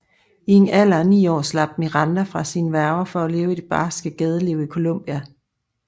I en alder af ni år slap Miranda fra sine værger for at leve i det barske gadeliv i Colombia